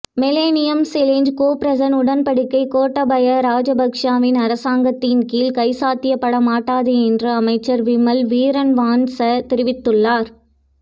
millennium challenge corporation உடன்படிக்கை கோட்டாபய ராஜபக்சவின் அரசாங்கத்தின் கீழ் கைச்சாத்திடப்படமாட்டாது என்று அமைச்சர் விமல் வீரவன்ச தெரிவித்துள்ளார்